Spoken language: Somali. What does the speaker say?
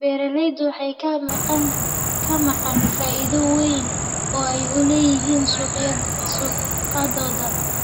Beeralayda waxaa ka maqan faa'iido weyn oo ay u leeyihiin shaqadooda.